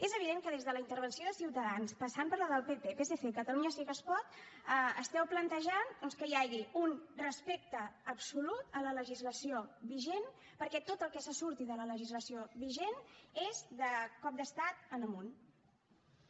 és evident que des de la intervenció de ciutadans passant per la del pp psc i catalunya sí que es pot esteu plantejant doncs que hi hagi un respecte absolut a la legislació vigent perquè tot el que se surti de la legislació vigent és de cop d’estat en amunt